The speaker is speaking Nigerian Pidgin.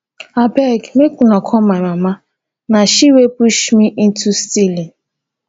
abeg make una call my mama na she wey push me into stealing